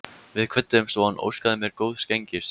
Við kvöddumst og hann óskaði mér góðs gengis.